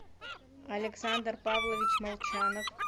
александр павлович молчанов